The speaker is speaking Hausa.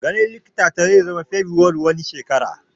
Ganin likitan ta zai zama Fabrairu wani shekara